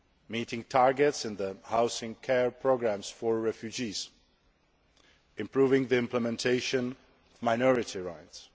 meeting targets in the Housing Care Programme for refugees and improving the implementation of minority rights.